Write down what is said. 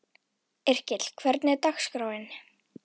Yrkill, hvernig er dagskráin?